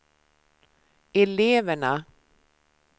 eleverna